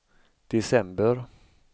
december